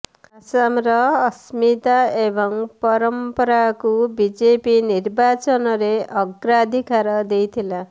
ଆସାମର ଅସ୍ମିତା ଏବଂ ପରମ୍ପରାକୁ ବିଜେପି ନିର୍ବାଚନରେ ଅଗ୍ରାଧିକାର ଦେଇଥିଲା